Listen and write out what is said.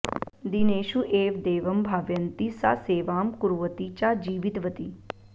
दीनेषु एव देवं भावयन्ती सा सेवां कुर्वती च जीवितवती